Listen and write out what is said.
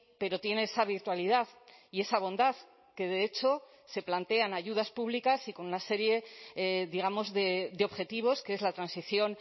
pero tiene esa virtualidad y esa bondad que de hecho se plantean ayudas públicas y con una serie digamos de objetivos que es la transición